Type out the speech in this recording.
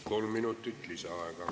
Kolm minutit lisaaega.